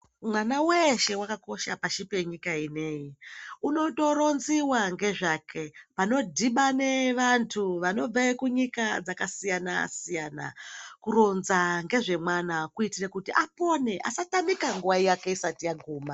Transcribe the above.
Mwana weshe wakakosha pashi penyika ineyi unotoronziwa ngezvake panodhibane vanthu vanobve kunyika dzakasiyana siyana kuronza ngezvemwana kuitira kuti apone asatamika nguwa yake isati yaguma.